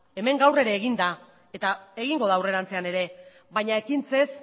hemen gaur ere egin da eta egingo da aurrerantzean ere baina ekintzez